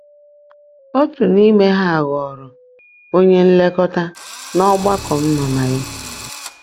Otu n’ime ha ghọrọ onye nlekọta n’ọgbakọ m nọ na ya.